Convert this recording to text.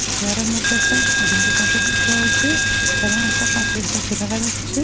চেয়ারের মদ্যে একটা আইডেন্টি কার্ডেট রয়েছে এবং একটা কাঁচের দজ্জা দেখা যাচ্ছে।